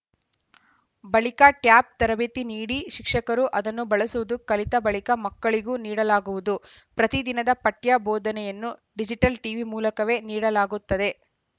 ಬಳಿಕ ಟ್ಯಾಬ್‌ ತರಬೇತಿ ನೀಡಿ ಶಿಕ್ಷಕರು ಅದನ್ನು ಬಳಸುವುದು ಕಲಿತ ಬಳಿಕ ಮಕ್ಕಳಿಗೂ ನೀಡಲಾಗುವುದು ಪ್ರತಿದಿನದ ಪಠ್ಯ ಬೋಧನೆಯನ್ನು ಡಿಜಿಟಲ್‌ ಟಿವಿ ಮೂಲಕವೇ ನೀಡಲಾಗುತ್ತದೆ